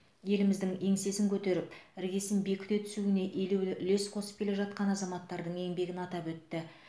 еліміздің еңсесін көтеріп іргесін бекіте түсуіне елеулі үлес қосып келе жатқан азаматтардың еңбегін атап өтті